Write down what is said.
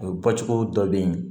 O bɔcogo dɔ bɛ ye